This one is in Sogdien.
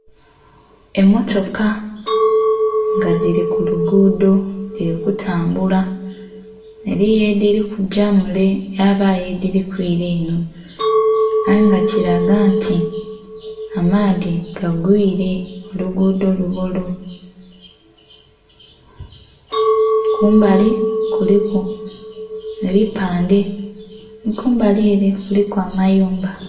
Emmotoka nga dhili ku luguudho dhili kutambula. Eliyo edhili kugya mule yabaayo edhili kwila enho. Aye nga kilaga nti amaadhi gagwiile, oluguudho lubolu. Kumbali kuliku ebipande, nhi kumbali ele kuliku amayumba.